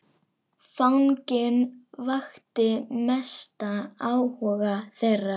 Fanginn vakti mestan áhuga þeirra.